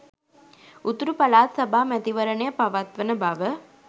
උතුරු පළාත් සභා මැතිවරණය පවත්වන බව